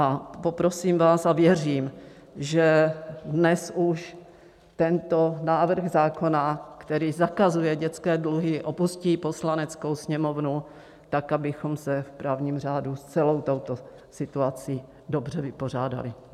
A poprosím vás a věřím, že dnes už tento návrh zákona, který zakazuje dětské dluhy, opustí Poslaneckou sněmovnu, tak abychom se v právním řádu s celou touto situací dobře vypořádali.